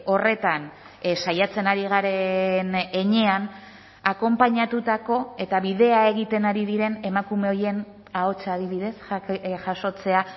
horretan saiatzen ari garen heinean akonpainatutako eta bidea egiten ari diren emakume horien ahotsa adibidez jasotzea